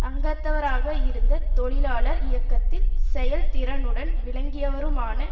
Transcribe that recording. அங்கத்தவராக இருந்து தொழிலாளர் இயக்கத்தில் செயல் திறுனுடன் விளங்கியவருமான